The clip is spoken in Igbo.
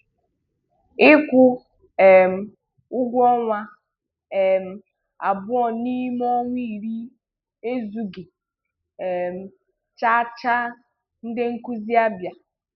Ịkwụ um ụgwọ ọnwa um abụọ n'ime ọnwa iri ezughi um chaachaa - Ndị nkuzi Abịa